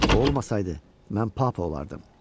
O olmasaydı, mən papa olardım.